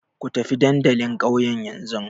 Ku tafi dandalin ƙauyen yanzu!